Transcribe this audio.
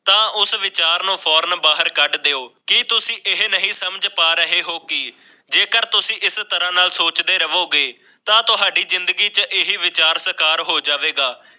ਇਹ ਵਿਚਾਰ ਬਾਹਰ ਕੱਢ ਦਿਓ ਇਹ ਨਹੀਂ ਸਮਝ ਪਾ ਰਹੇ ਹੋ ਕਿ ਜੇ ਤੁਸੀਂ ਇਸ ਤਰ੍ਹਾਂ ਸੋਚਦੇ ਰਹੇ ਤਾਂ ਤੁਹਾਡੀ ਜ਼ਿੰਦਗੀ ਵਿੱਚ ਵਿਚਾਰ ਵਿਚ ਵਿਸਥਾਰ ਹੋ ਜਾਵੇਗਾ